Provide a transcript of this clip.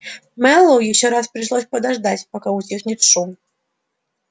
мэллоу ещё раз пришлось подождать пока утихнет шум